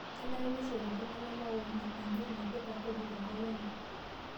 Kenare neishoru iltung'ana maoni enye naipirta kodi tenkop enye